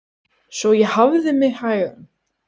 Svo ég hafði mig hægan.